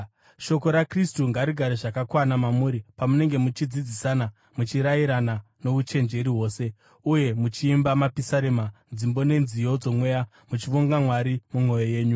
Shoko raKristu ngarigare zvakakwana mamuri pamunenge muchidzidzisana muchirayirana nouchenjeri hwose, uye muchiimba mapisarema, dzimbo nenziyo dzomweya muchivonga Mwari mumwoyo yenyu.